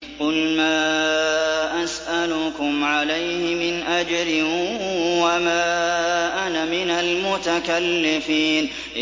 قُلْ مَا أَسْأَلُكُمْ عَلَيْهِ مِنْ أَجْرٍ وَمَا أَنَا مِنَ الْمُتَكَلِّفِينَ